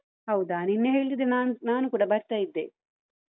ಹೌದಾ ನಿನ್ನೆ ಹೇಳ್ತಿದ್ರೆ ನಾನ್~ ನಾನೂ ಕೂಡ ಬರ್ತಾ ಇದ್ದೆ.